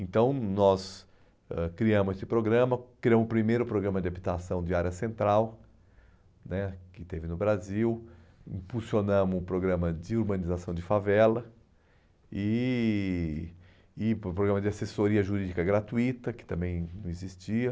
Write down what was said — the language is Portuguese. Então, nós ãh criamos esse programa, criamos o primeiro programa de habitação de área central né, que teve no Brasil, impulsionamos o programa de urbanização de favela e, e por exemplo, o programa de assessoria jurídica gratuita, que também não existia.